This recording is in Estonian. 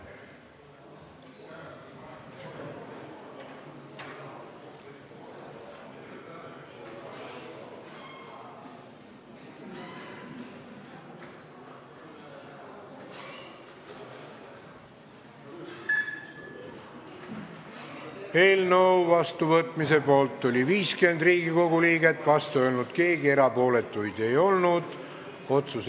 Hääletustulemused Eelnõu vastuvõtmise poolt oli 50 Riigikogu liiget, vastu ei olnud keegi, erapooletuid ei olnud.